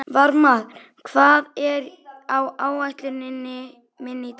Varmar, hvað er á áætluninni minni í dag?